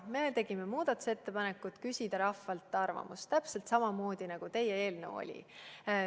Me tegime muudatusettepanekuid küsida rahvalt arvamust – täpselt samamoodi, nagu teie eelnõus oli.